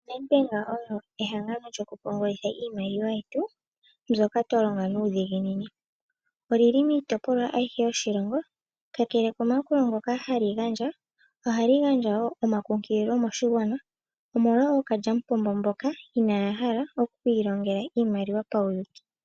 Nedbank oyo ehangano lyokupungula iimaliwa yetu, mbyoka twa longa nuudhiginini. Oli li miitopolwa ayihe yoshilongo. Kakele komayakulo ngono hali gandja, ohali gandja wo omakunkililo moshigwana omolwa ookalyamupombo mboka inaya hala oku ilongela iimaliwa pauyuuki.